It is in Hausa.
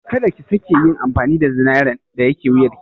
Ka da ki sake yin amfani da zinaren da yake wuyarki.